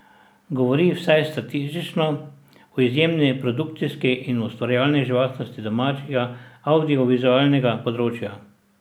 Govori, vsaj statistično, o izjemni produkcijski in ustvarjalni živahnosti domačega avdiovizualnega področja.